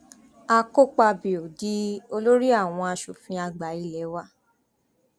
àkọpàbío di olórí àwọn asòfin àgbà ilé wa